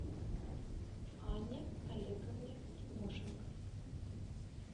анне олеговне тимошенко